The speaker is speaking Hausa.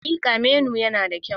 Hakika, menu yana da kyau.